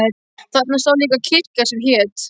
Þarna stóð líka kirkja sem hét